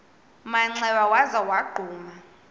manxeba waza wagquma